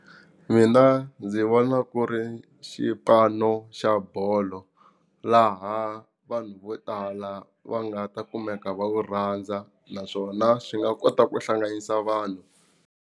Mina ndzi vona ku ri xipano xa bolo laha vanhu vo tala va nga ta kumeka va wu rhandza naswona swi nga kota ku hlanganisa vanhu.